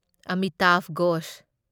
Amitabh Ghosh